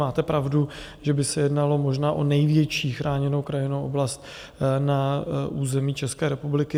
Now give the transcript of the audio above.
Máte pravdu, že by se jednalo možná o největší chráněnou krajinnou oblast na území České republiky.